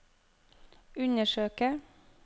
undersøke